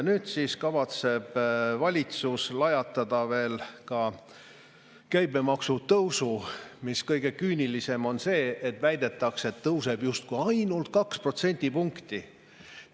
Nüüd siis kavatseb valitsus lajatada veel ka käibemaksu tõusu, kusjuures selle kohta – ja see on kõige küünilisem – väidetakse, et see tõuseb justkui ainult 2 protsendipunkti.